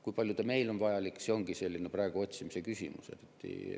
Kui palju ta meile on vajalik, see ongi praegu selline otsimise küsimus.